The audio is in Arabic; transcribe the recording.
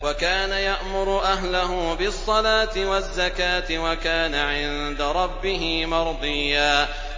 وَكَانَ يَأْمُرُ أَهْلَهُ بِالصَّلَاةِ وَالزَّكَاةِ وَكَانَ عِندَ رَبِّهِ مَرْضِيًّا